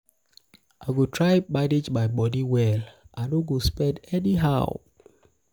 i go try manage my moni well i no go spend anyhow.